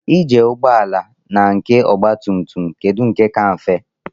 Ije ụgbọala na nke ogba tum tum kedụ nke ka mfe?